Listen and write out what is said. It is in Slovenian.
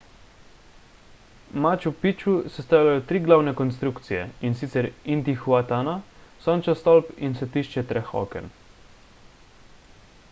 machu picchu sestavljajo tri glavne konstrukcije in sicer intihuatana sončev stolp in svetišče treh oken